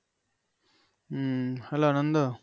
হম hello বন্ধু